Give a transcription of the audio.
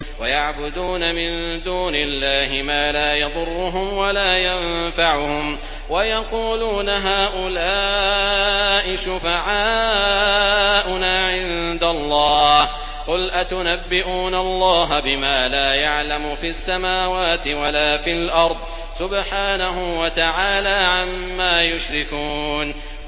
وَيَعْبُدُونَ مِن دُونِ اللَّهِ مَا لَا يَضُرُّهُمْ وَلَا يَنفَعُهُمْ وَيَقُولُونَ هَٰؤُلَاءِ شُفَعَاؤُنَا عِندَ اللَّهِ ۚ قُلْ أَتُنَبِّئُونَ اللَّهَ بِمَا لَا يَعْلَمُ فِي السَّمَاوَاتِ وَلَا فِي الْأَرْضِ ۚ سُبْحَانَهُ وَتَعَالَىٰ عَمَّا يُشْرِكُونَ